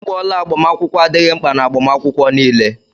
Ịgba ọla agbamakwụkwọ adịghị mkpa n'agbamakwụkwọ niile.